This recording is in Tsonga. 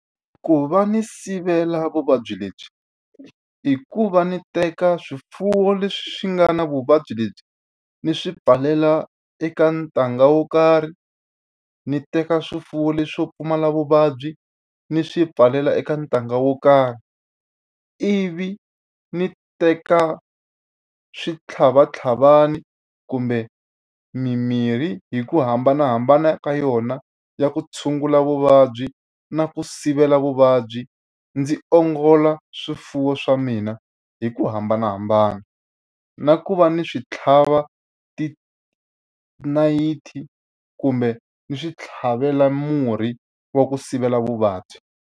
Ku va ni sivela vuvabyi lebyi, i ku va ni teka swifuwo leswi nga na vuvabyi lebyi ni swi pfalela eka ntanga wo karhi, ni teka swifuwo leswo pfumala vuvabyi ni swi pfalela eka ntanga wo karhi. Ivi ni teka switlhavatlhavana kumbe mimirhi hi ku hambanahambana ka yona ya ku tshungula vuvabyi na ku sivela vuvabyi, ndzi ongola swifuwo swa mina hi ku hambanahambana. Na ku va ni swi tlhava tinayiti kumbe ni swi tlhavela murhi wa ku sivela vuvabyi.